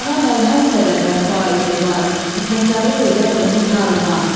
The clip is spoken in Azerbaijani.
Cana məlhəmsə də vəfa etibar, fitnəkarlıq edər onu tar-mar.